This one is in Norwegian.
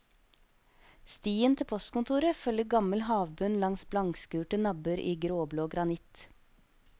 Stien til postkontoret følger gammel havbunn langs blankskurte nabber i gråblå granitt.